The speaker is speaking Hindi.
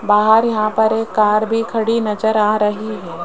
बाहर यहां पर एक कार भी खड़ी नजर आ रही है।